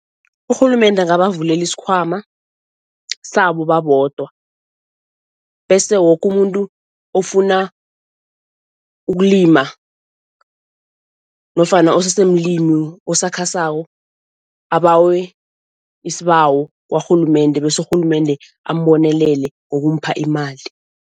Urhulumende angabavulela isikhwama sabo babodwa bese woke umuntu ofuna ukulima nofana osesemlimi osakhasako abawe isibawo kwarhulumende bese urhulumende ambonelele ngokumupha imali.